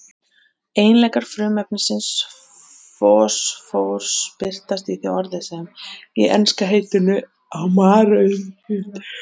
Eiginleikar frumefnisins fosfórs birtast í því orði sem og í enska heitinu á maurildi.